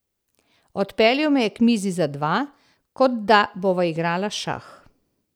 Odpeljal me je k mizi za dva, kot da bova igrala šah.